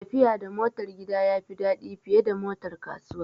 Tafiya da motar gida ya fi daɗi fiye da motar kasuwa